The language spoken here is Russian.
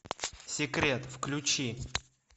секрет включи